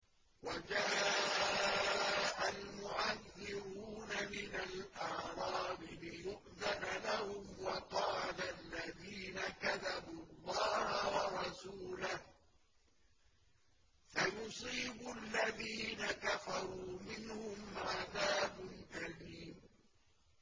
وَجَاءَ الْمُعَذِّرُونَ مِنَ الْأَعْرَابِ لِيُؤْذَنَ لَهُمْ وَقَعَدَ الَّذِينَ كَذَبُوا اللَّهَ وَرَسُولَهُ ۚ سَيُصِيبُ الَّذِينَ كَفَرُوا مِنْهُمْ عَذَابٌ أَلِيمٌ